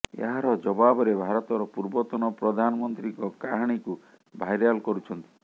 ଏହାର ଜବାବରେ ଭାରତର ପୂର୍ବତନ ପ୍ରଧାନମନ୍ତ୍ରୀଙ୍କ କାହାଣୀକୁ ଭାଇରାଲ କରୁଛନ୍ତି